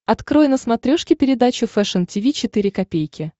открой на смотрешке передачу фэшн ти ви четыре ка